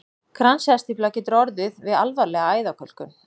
Kransæðastífla getur orðið við alvarlega æðakölkun.